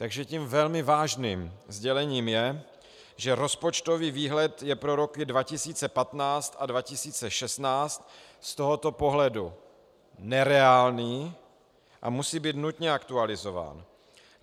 Takže tím velmi vážným sdělením je, že rozpočtový výhled je pro roky 2015 a 2016 z tohoto pohledu nereálný a musí být nutně aktualizován.